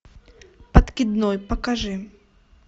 подкидной покажи